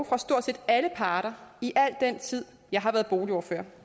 fra stort set alle parter i al den tid jeg har været boligordfører